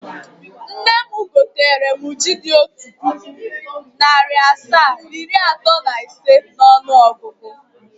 Nne m gotere m ji dị otu puku, narị asaa, iri atọ na ise n’ọnụọgụgụ.